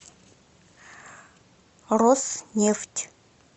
роснефть